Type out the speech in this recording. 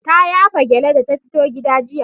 Ta yafa gyalle da ta fito gida jiya?